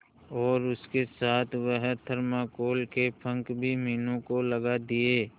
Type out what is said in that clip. और उसके साथ वह थर्माकोल के पंख भी मीनू को लगा दिए